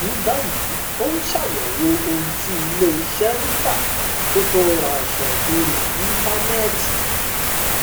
ní báyìí ó ń ṣàyẹwò ohun tí ilé iṣẹ ń tà kó tó ra aṣọ lórí íńtánẹẹtì